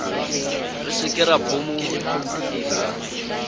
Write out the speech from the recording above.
re se ke ra phomola